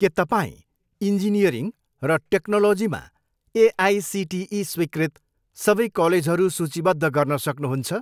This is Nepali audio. के तपाईँँ इन्जिनियरिङ र टेक्नोलोजीमा एआइसिटिई स्वीकृत सबै कलेजहरू सूचीबद्ध गर्न सक्नुहुन्छ?